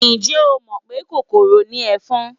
Ǹjẹ́ o mọ̀ pé kòkòrò ni ẹ̀fọn?